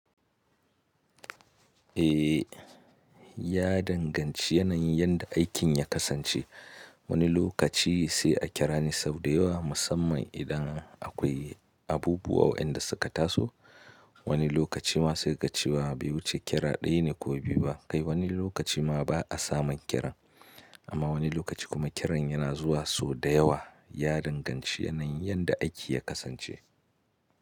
Eh, ya danganci yanayin yadda aikin ya kasance. Wani lokaci sai a kira ni sau da yawa musamman idan akwai abubuwa waɗanda suka taso. Wani lokaci ma sai ka ga cewa bai wuce kira ɗaya ne ko biyu ba. Kai wani lokaci ma ba a samun kiran, amma wani lokaci kuma kiran yana zuwa sau da yawa. Ya danganci yanayin yadda aiki ya kasance.